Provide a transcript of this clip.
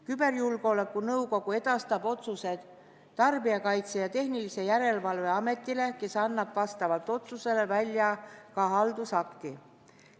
Küberjulgeoleku nõukogu edastab otsused Tarbijakaitse ja Tehnilise Järelevalve Ametile, kes annab vastavalt otsusele välja ka haldusakti.